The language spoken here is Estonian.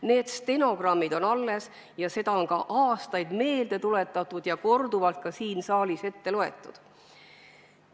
Need stenogrammid on alles ja neid väiteid on aastaid meelde tuletatud ja korduvalt ka siin saalis ette loetud.